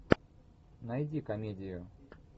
найди комедию